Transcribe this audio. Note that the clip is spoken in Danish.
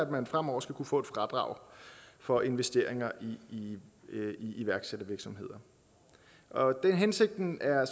at man fremover skal kunne få et fradrag for investeringer i iværksættervirksomheder og hensigten er